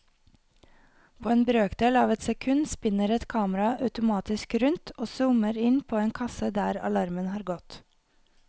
På en brøkdel av et sekund spinner et kamera automatisk rundt og zoomer inn på en kasse der alarmen har gått.